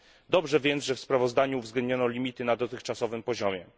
Dobrze więc, że w sprawozdaniu uwzględniono limity na dotychczasowym poziomie.